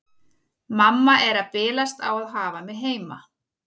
Mamma er að bilast á að hafa mig heima.